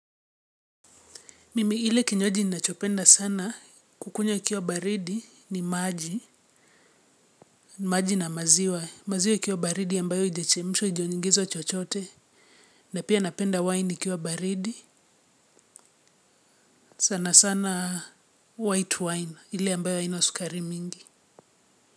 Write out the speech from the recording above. Mimi ile kinywaji ninachopenda sana kukunya ikiwa baridi ni maji, maji na maziwa, maziwa ikiwa baridi ambayo ijechemshwa ijeongezwa chochote, na pia napenda wine ikiwa baridi, sana sana white wine, ile ambayo haina sukari mingi.